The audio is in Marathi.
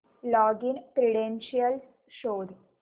लॉगिन क्रीडेंशीयल्स शोध